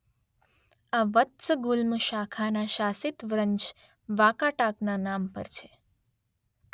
આ વત્સગુલ્મ શાખાના શાસિત વંશ વાકાટાકના નામ પર છે.